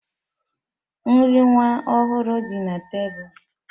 Nri nwa ọhụrụ dị na tebụl